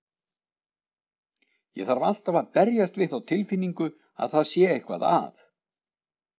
Ég þarf alltaf að berjast við þá tilfinningu að það sé eitthvað að.